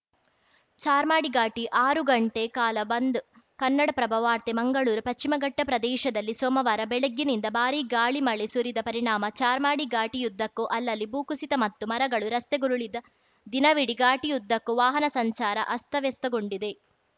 ಚಾರ್ಮಾಡಿ ಘಾಟಿ ಆರು ಗಂಟೆ ಕಾಲ ಬಂದ್‌ ಕನ್ನಡಪ್ರಭ ವಾರ್ತೆ ಮಂಗಳೂರು ಪಶ್ಚಿಮಘಟ್ಟಪ್ರದೇಶದಲ್ಲಿ ಸೋಮವಾರ ಬೆಳಗ್ಗಿನಿಂದ ಭಾರಿ ಗಾಳಿಮಳೆ ಸುರಿದ ಪರಿಣಾಮ ಚಾರ್ಮಾಡಿ ಘಾಟಿಯುದ್ದಕ್ಕೂ ಅಲ್ಲಲ್ಲಿ ಭೂಕುಸಿತ ಮತ್ತು ಮರಗಳು ರಸ್ತೆಗುರುಳಿದ ದಿನವಿಡೀ ಘಾಟಿಯುದ್ದಕ್ಕೂ ವಾಹನ ಸಂಚಾರ ಅಸ್ತವ್ಯಸ್ತಗೊಂಡಿತ್ತು